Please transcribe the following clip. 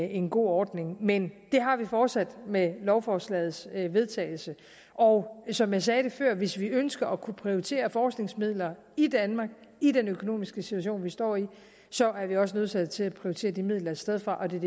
en god ordning men det har vi fortsat med lovforslagets vedtagelse og som jeg sagde det før hvis vi ønsker at kunne prioritere forskningsmidler i danmark i den økonomiske situation vi står i så er vi også nødsaget til at prioritere de midler et sted fra og det er